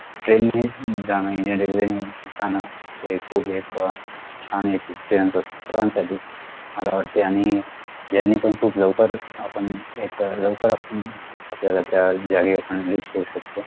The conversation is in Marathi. train नीच जण indian railway जाणं हे खूप एक अह छान एक experience असतो सर्वांसाठी मला वाटते आणि journey पण खूप लवकर आपण एका अह लवकर आपण आपल्याला त्या जागेवर आपण reach होऊ शकतो